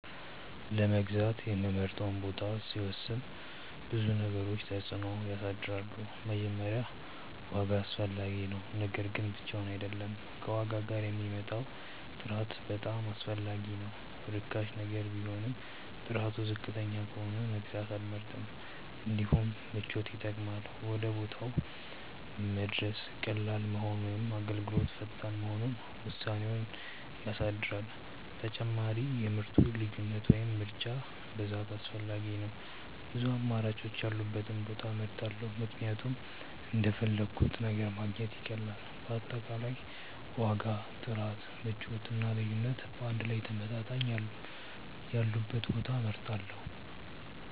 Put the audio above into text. ለመግዛት የምመርጠውን ቦታ ሲወስን ብዙ ነገሮች ተጽዕኖ ያሳድራሉ። መጀመሪያ ዋጋ አስፈላጊ ነው፤ ነገር ግን ብቻውን አይደለም፣ ከዋጋ ጋር የሚመጣው ጥራት በጣም አስፈላጊ ነው። ርካሽ ነገር ቢሆንም ጥራቱ ዝቅተኛ ከሆነ መግዛት አልመርጥም። እንዲሁም ምቾት ይጠቅማል፤ ወደ ቦታው መድረስ ቀላል መሆኑ ወይም አገልግሎቱ ፈጣን መሆኑ ውሳኔዬን ያሳድራል። ተጨማሪም የምርቱ ልዩነት ወይም ምርጫ ብዛት አስፈላጊ ነው፤ ብዙ አማራጮች ያሉበትን ቦታ እመርጣለሁ ምክንያቱም እንደፈለግሁት ነገር ማግኘት ይቀላል። በአጠቃላይ ዋጋ፣ ጥራት፣ ምቾት እና ልዩነት በአንድ ላይ ተመጣጣኝ ያሉበትን ቦታ እመርጣለሁ።